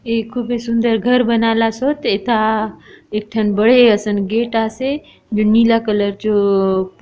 ए कुबे सुंदर घर बनाला सोतएता एक ठन बड़े असन गेट आसे जो नीला कलर जो--